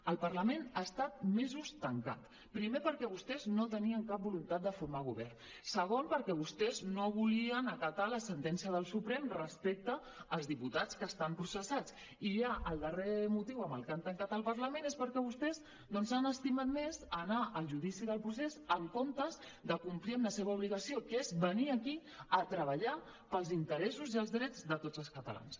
el parlament ha estat mesos tancat primer perquè vostès no tenien cap voluntat de formar govern segon perquè vostès no volien acatar la sentència del suprem respecte als diputats que estan processats i ja el darrer motiu amb el que han tancat el parlament és perquè vostès doncs s’han estimat més anar al judici del procés en comptes de complir amb la seva obligació que és venir aquí a treballar pels interessos i els drets de tots els catalans